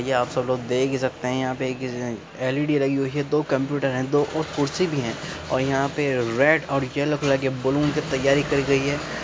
ये आप सब लोग देख ही सकते हैं यहां पे किसी ने एलईडी लगी हुई है दो कंप्यूटर है और दो कुर्सी भी है और यहां पे रेड और येलो कलर के बलून से तैयारी करी गई है।